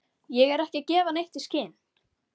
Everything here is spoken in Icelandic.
Ég er ekki að gefa neitt í skyn.